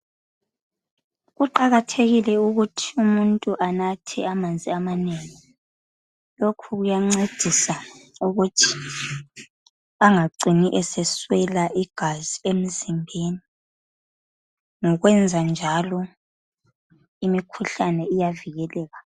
Kuqakathekile ukuthi umuntu anathe amanzi amanengi, lokhu kuyancedisa ukuthi angacini eseswela igazi emzimbeni. Ngokwenza njalo imikhuhlane iyavikeleka.